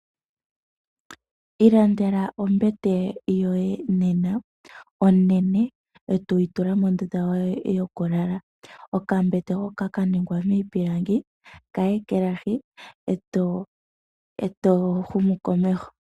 Ilandela ombete yoye nena onene oto yitula mondunda yoye yokulala, okambete hoka kaningwa mipilangi kayekelahi oto humu komeho.